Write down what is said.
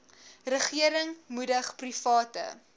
regering moedig private